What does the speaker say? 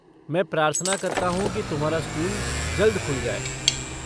मैं प्रार्थना करता हूँ कि तुम्हारा स्कूल जल्द खुल जाए।